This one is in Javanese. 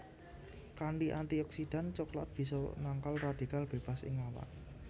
Kanthi antioksidan coklat bisa nangkal radikal bebas ing awak